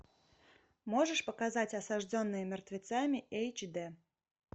можешь показать осажденные мертвецами эйч дэ